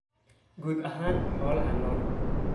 guud ahaan xoolaha nool.